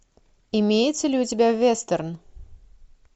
имеется ли у тебя вестерн